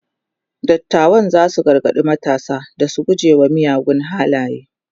dattawan zasu gargaɗi matasa da su guje wa miyagun halaye